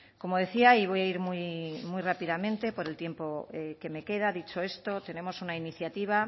como decía y voy a ir muy rápidamente por el tiempo que me queda dicho esto tenemos una iniciativa